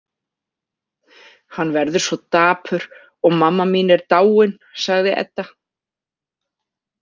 Hann verður svo dapur og mamma mín er dáin, sagði Edda.